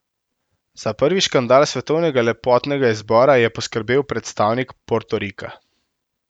Za prvi škandal svetovnega lepotnega izbora je poskrbel predstavnik Portorika.